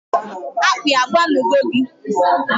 Akpi agba nu go gi?